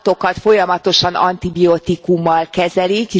Az állatokat folyamatosan antibiotikummal kezelik.